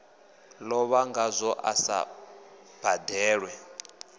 lovha ngazwo a sa badelwe